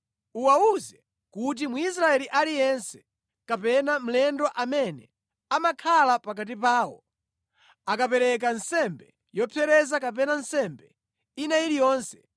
“Uwawuze kuti, ‘Mwisraeli aliyense kapena mlendo amene amakhala pakati pawo akapereka nsembe yopsereza kapena nsembe ina iliyonse